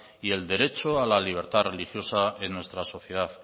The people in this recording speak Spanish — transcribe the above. y el derecho a la libertad religiosa en nuestra sociedad